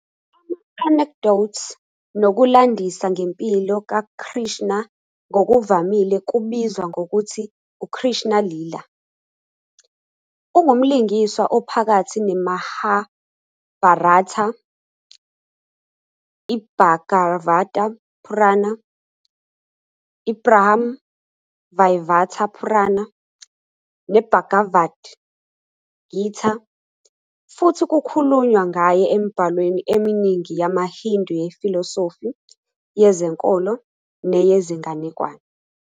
Ama-anecdotes nokulandisa ngempilo kaKrishna ngokuvamile kubizwa ngokuthi "uKrishna Leela."Ungumlingiswa ophakathi "neMahabharata", "iBhagavata Purana", "iBrahma Vaivarta Purana" "neBhagavad Gita", futhi kukhulunywa ngaye emibhalweni eminingi yamaHindu yefilosofi, yezenkolo, neyezinganekwane.